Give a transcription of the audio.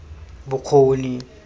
bokgoni